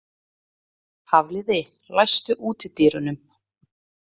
Hafliði, læstu útidyrunum.